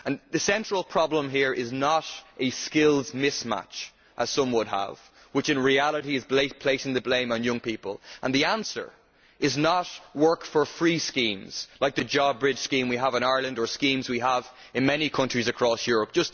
The central problem here is not a skills mismatch, as some would have it, which in reality is placing the blame on young people, and the answer is not work for free schemes like the JobBridge scheme we have in Ireland, or schemes we have in many countries across Europe.